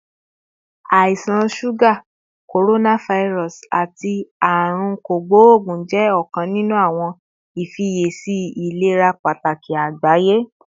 Àisan suga, coronavirus, ati Aarun Kogbogun jẹ ọkan ninu awọn ifiyesi ilera pataki agbaye